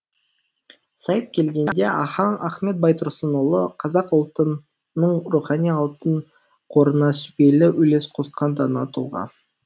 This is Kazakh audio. сайып келгенде ахаң ахмет байтұрсынұлы қазақ ұлтының рухани алтын қорына сүбелі үлес қосқан дана тұлға